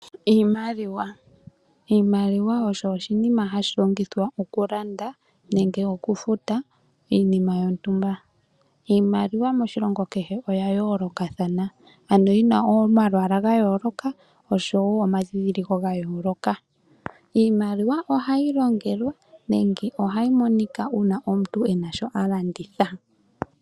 Iimaliwa, iimaliwa osho oshiima hashi longithwa oku landa nenge okufuta iinima yontumba. Iimaliwa moshilongo kehe oya yolokathana ano yina omalwaala gayoloka osho wo omadhidhiliko gayoloka. Iimaliwa ohayi longelelwa nenge ohayi monika uuna omuntu ena shoka a landitha.